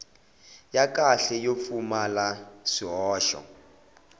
ya kahle yo pfumala swihoxo